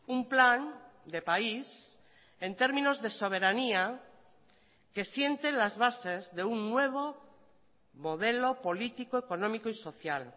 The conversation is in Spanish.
un plan de país en términos de soberanía que siente las bases de un nuevo modelo político económico y social